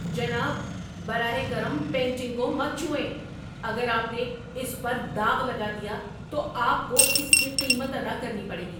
جناب، براہ کرم پینٹنگ کو مت چھوئیں! اگر آپ نے اس پر داغ لگا دیا تو آپ کو اس کی قیمت ادا کرنی پڑے گی۔